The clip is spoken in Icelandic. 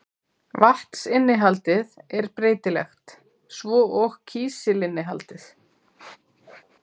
Vatnsinnihaldið er breytilegt, svo og kísilinnihaldið.